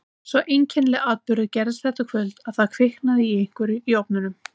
Sá einkennilegi atburður gerðist þetta kvöld að það kviknaði í einhverju í ofninum.